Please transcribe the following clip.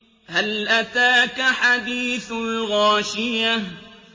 هَلْ أَتَاكَ حَدِيثُ الْغَاشِيَةِ